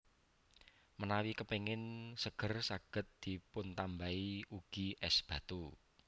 Menawi kepéngin seger saged dipuntambahi ugi és batu